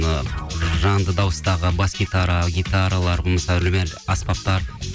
ы жанды дауыстағы бас гитара гитаралар мысалы үрмелі аспаптар